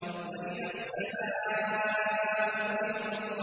وَإِذَا السَّمَاءُ كُشِطَتْ